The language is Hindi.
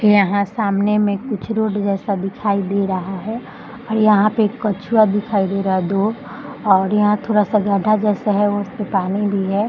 यहाँ सामने में कुछ रोड जैसा दिखाई दे रहा है यहाँ पे कछुआ दिखाई दे रहा है दो और यहाँ थोड़ा सा गड्ढा जैसा है उसमें पानी भी है।